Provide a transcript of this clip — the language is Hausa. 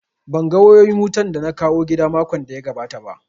Ban ga wayoyin wutan da na kawo gida makon da ya gabata ba